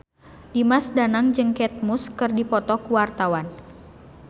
Dimas Danang jeung Kate Moss keur dipoto ku wartawan